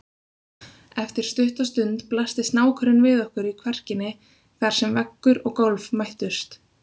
Eftir stutta stund blasti snákurinn við okkur í kverkinni þar sem veggur og gólf mættust.